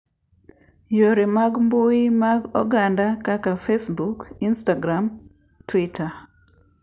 Yore mag mbui mag oganda kaka Facebook, Instagram, Twitter